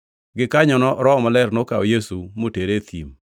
Gikanyono Roho Maler nokawo Yesu motere e thim,